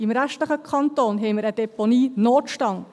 Im restlichen Kanton haben wir einen Deponienotstand.